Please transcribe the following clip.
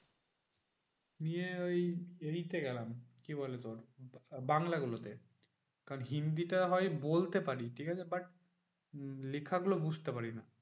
নিয়ে ওই ইতে গেলাম, কি বলে তোর? বাংলাগুলোতে কারণ হিন্দিটা হয় বলতে পারি ঠিকাছে? but লেখাগুলো বুঝতে পারি না।